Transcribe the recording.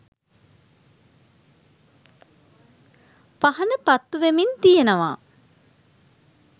පහන පත්තුවෙමින් තියෙනවා